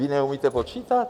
Vy neumíte počítat?